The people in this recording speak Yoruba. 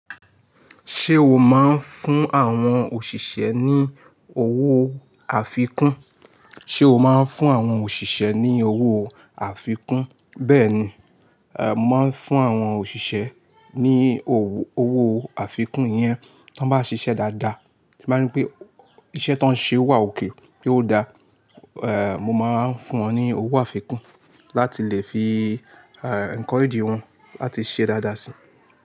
Ṣé o máa ń fún àwọn òṣìṣẹ́ ní owó àfikún? Béẹ̀ni, mo máa ń fún àwọn òṣìṣẹ́ ní owó àfikún yẹn. Tí wọ́n bá ṣiṣẹ́ dáadáa, tí mo bá rí pé iṣẹ́ tí wọ́n ṣe wà ókè pé ó da, mo máa ń fún wọn ní owó àfikún láti lè fi enkoeeji wọn láti ṣe dáadáa si.